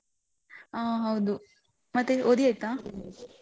ಆ ಹೌದು, ಮತ್ತೆ ಓದಿ ಆಯ್ತಾ?